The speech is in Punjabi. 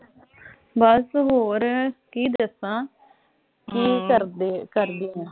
ਬਸ ਹੋਰ ਕੀ ਦੱਸਾਂ। ਕੀ ਕਰਦੇ ਅਹ ਕਰਦੇ ਓਂ?